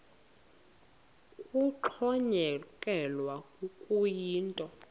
kuxhonyekekwe kuyo yinto